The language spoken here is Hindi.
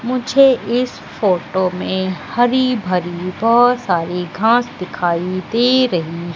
मुझे इस फोटो में हरी भरी बहुत सारी घास दिखाई दे रही--